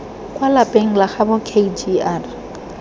kwa lapeng la gaabo kgr